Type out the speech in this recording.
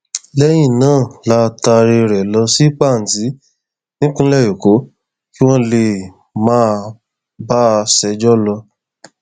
lẹyìn náà la taaré rẹ lọ sí panti nípínlẹ èkó kí wọn lè máa bá a ṣẹjọ lọ